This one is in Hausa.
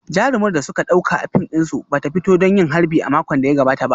Jarumar da suka dauka a fim dinsu ba ta fito don yin harbi a makon da ya gabata ba